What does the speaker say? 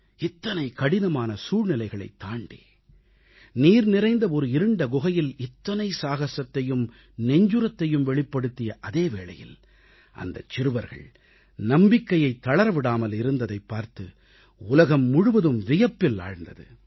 இத்தனை கடினமான சூழ்நிலைகளைத் தாண்டி நீர் நிறைந்த ஒரு இருண்ட குகையில் இத்தனை சாகசத்தையும் நெஞ்சுரத்தையும் வெளிப்படுத்திய அதே வேளையில் அந்தச் சிறுவர்கள் நம்பிக்கையைத் தளர விடாமல் இருந்ததைப் பார்த்து உலகம் முழுவதும் வியப்பில் ஆழ்ந்தது